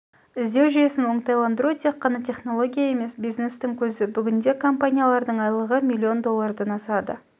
іздеу жүйесін оңтайландыру тек қана тенология емес бизнестің көзі бүгінде компаниялардың айлық сы миллион доллардан асады